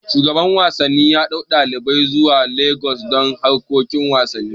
Shugaban wasanni yaɗau ɗalibai zuwa Lagos don harkokin wasanni